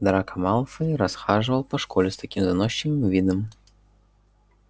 драко малфой расхаживал по школе с таким заносчивым видом